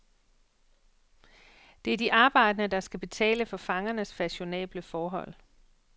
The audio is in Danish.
Det er de arbejdende, der skal betale for fangernes fashionable forhold.